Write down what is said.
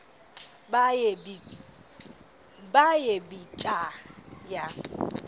baye bee tyaa